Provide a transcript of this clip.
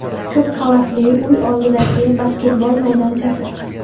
Ko‘pqavatli uy oldidagi basketbol maydonchasi.